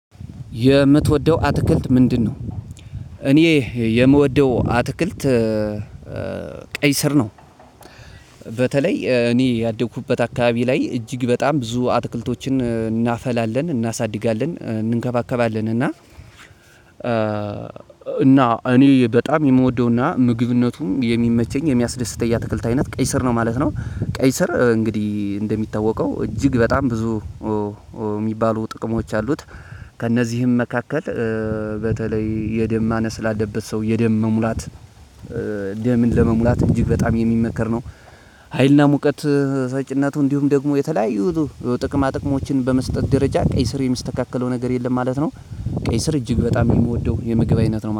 የምትወደው አትክልት ምንድነው? እኔ የምወደው አትክልት ቀይ ስር ነው። በተለይ እኔ ያደኩበት አካባቢ ላይ እጅግ በጣም ብዙ አትክልቶችን እናፈላለን እናሳድጋለን እንከባከባለን እና። እና እኔ በጣም የምወደውና ምግብነቱም የሚመቸኝ የሚያስደስተኝ የትክልት አይነት ቀይ ስር ነው ማለት ነው። ቀይ ስር እንግዲህ እንደሚታወቀው እጅግ በጣም ብዙ እሚባሉ ጥቅሞች አሉት። ከእነዚህም መካከል በተለይ የደም ማነስ ላለበት ሰው የደም መሙላት ደምን ለመሙላት እጅግ በጣም የሚመከር ነው። ሀይልና ሙቀት ሰጭነቱ እንዲሁም ደግሞ የተለያዩ ጥቅማ ጥቅሞችን በመስጠት ደረጃ ቀይ ስር የሚስተካከለው ነገር የለም ማለት ነው። ቀይ ስር እጅግ በጣም የምወደው የምግብ አይነት ነው